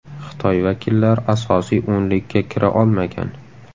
Xitoy vakillari asosiy o‘nlikka kira olmagan.